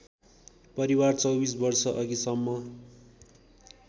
परिवार २४ वर्षअघिसम्म